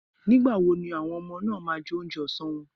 Nígbà wo ni àwọn ọmọ náà máa jẹ oúnjẹ ọsán wọn.?